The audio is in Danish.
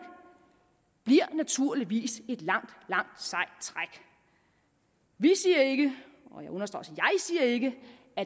bliver naturligvis et langt langt sejt træk vi siger ikke